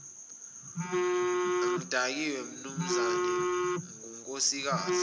angidakiwe mnumzane ngunkosikazi